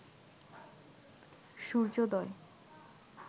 সূর্যোদয়